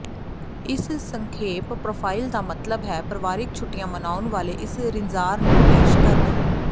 ਇਸ ਸੰਖੇਪ ਪ੍ਰੋਫਾਈਲ ਦਾ ਮਤਲਬ ਹੈ ਪਰਿਵਾਰਕ ਛੁੱਟੀਆਂ ਮਨਾਉਣ ਵਾਲੇ ਇਸ ਰਿਜ਼ਾਰੰ ਨੂੰ ਪੇਸ਼ ਕਰਨਾ